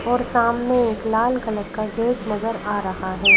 और सामने एक लाल कलर का गेट नजर आ रहा है ।